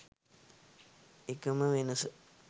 එකම වෙනස